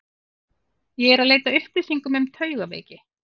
Ég er eð leita að upplýsingum um taugaveiki.